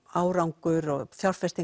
árangur